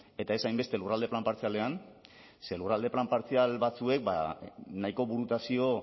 eta ez hainbeste lurralde plan partzialean ze lurralde plan partzial batzuek nahiko burutazio